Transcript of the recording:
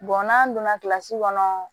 n'an donna kɔnɔ